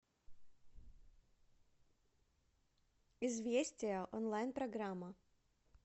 известия онлайн программа